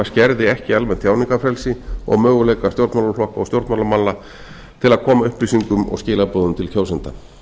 skerði ekki almennt tjáningarfrelsi og möguleika stjórnmálaflokka og stjórnmálamanna til að koma upplýsingum og skilaboðum til kjósenda